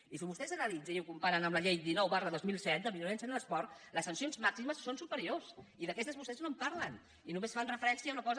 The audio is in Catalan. i si vostès ho analitzen i ho comparen amb la llei dinou dos mil set de violència en l’esport les sancions màximes són superiors i d’aquestes vostès no en parlen i només fan referència a una cosa